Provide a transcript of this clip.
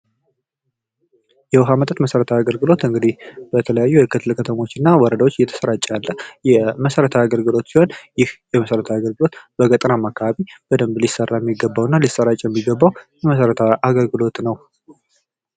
የውሃ መጠጥ መሰረታዊ አገልግሎት እንግዲህ በተለያዩ ክፍለ ከተሞችና ወረዳዎች እየተሰራጨ ያለ የመሰረታዊ የአገልግሎት ሲሆን ይህ የመሰረታዊ አገልግሎት በገጠር አማካይ በደንብ ሊሰራ የሚገባውና ሊሰራጭ የሚገባው መሰረታዊ አገልግሎት ነው።